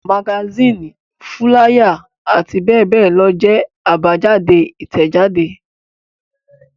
Magasínì, fúláyà àti bẹ́ẹ̀ bẹ́ẹ̀ lọ jẹ́ àbájáde Ìtẹ̀jáde.